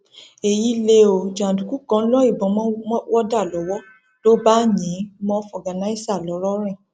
èyí lẹ ọ jàǹdùkú kan lo ìbọn mọ wọdà lọwọ ló bá yìn ín mọ fọgànàìsà ńlọrọrìn